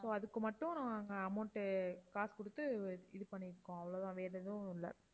so அதுக்கு மட்டும் நாங்க amount உ காசு கொடுத்து இது பண்ணி இருக்கோம் அவ்ளோ தான் வேற எதுவும் இல்ல